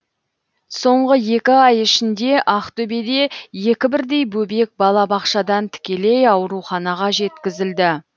соңғы екі ай ішінде ақтөбеде екі бірдей бөбек балабақшадан тікелей ауруханаға жеткізілді